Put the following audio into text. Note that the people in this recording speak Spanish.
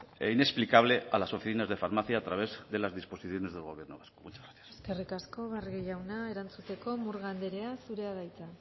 inexplicable a las oficinas de farmacia a través de las disposiciones de gobierno vasco eskerrik asko barrio jauna erantzuteko murga anderea zurea da hitza